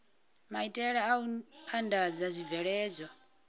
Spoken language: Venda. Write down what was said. maitele a u andadza zwibveledzwa